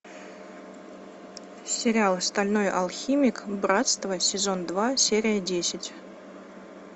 сериал стальной алхимик братство сезон два серия десять